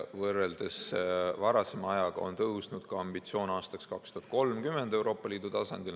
Võrreldes varasema ajaga on tõusnud ka ambitsioon aastaks 2030 Euroopa Liidu tasandil.